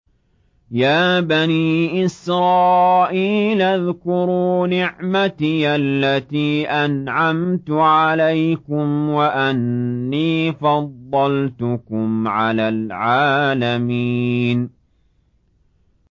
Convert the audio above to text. يَا بَنِي إِسْرَائِيلَ اذْكُرُوا نِعْمَتِيَ الَّتِي أَنْعَمْتُ عَلَيْكُمْ وَأَنِّي فَضَّلْتُكُمْ عَلَى الْعَالَمِينَ